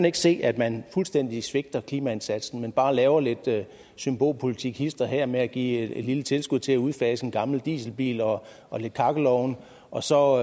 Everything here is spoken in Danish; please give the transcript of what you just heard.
ikke se at man fuldstændig svigter klimaindsatsen og bare laver lidt symbolpolitik hist og her med at give et lille tilskud til at udfase en gammel dieselbil og og nogle kakkelovne og så